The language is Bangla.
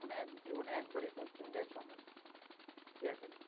ওখানে জীবনে একবারই posting দেয় ছ মাস সিয়াচেনে।